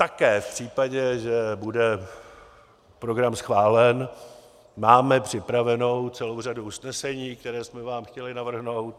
Také v případě, že bude program schválen, máme připravenou celou řadu usnesení, která jsme vám chtěli navrhnout.